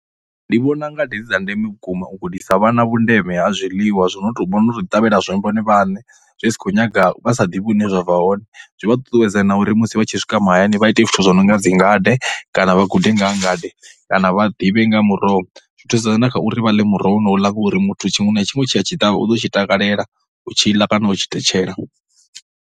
Ndi vhona ngade dzi dza ndeme vhukuma u gudisa vhana vhundeme ha zwiḽiwa zwi no tou, vha no tou ḓiṱavhela zwone vhone vhaṋe zwi si khou nyaga, vha sa ḓivhi hune zwa bva hone. Zwi vha ṱuṱuwedza na uri musi vha tshi swika mahayani vha ite zwithu zwo no nga dzi ngade kana vha gude nga ha ngade kana vha ḓivhe nga muroho. Zwi thusedza na kha uri vha ḽe muroho wonouḽa ngori muthu tshiṅwe na tshiṅwe tshe a tshi ṱavha u ḓo tshi takalela u tshi ḽa kana u tshi thetshela.